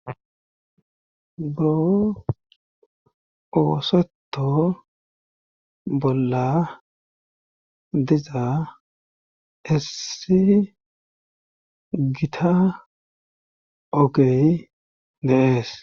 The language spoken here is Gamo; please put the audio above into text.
buro ooseto bolla diza issi gita ogey dee'es